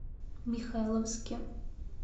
михайловске